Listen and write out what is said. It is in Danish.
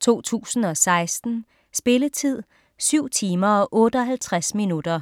2016. Spilletid: 7 timer, 58 minutter.